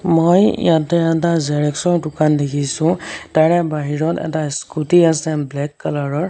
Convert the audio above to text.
মই ইয়াতে এটা জেৰক্সৰ দোকান দেখিছোঁ তাৰে বাহিৰত এটা স্কুটি আছে ব্লেক কালাৰৰ।